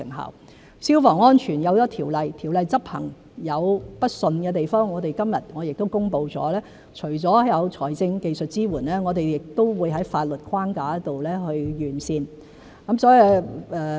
有了消防安全的條例，條例執行有不暢順的地方，我們今日亦公布除了有財政和技術支援外，亦會在法律框架上完善。